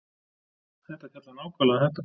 Þetta fjallar nákvæmlega um þetta